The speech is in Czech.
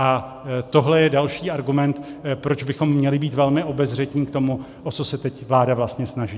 A tohle je další argument, proč bychom měli být velmi obezřetní k tomu, o co se teď vláda vlastně snaží.